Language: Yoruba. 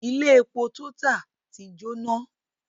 Ilé epo TOTAL ti jóná.